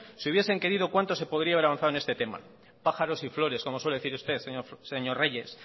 si hubiesen querido cuánto se podría haber avanzado en este tema pájaros y flores como suele decir usted señor reyes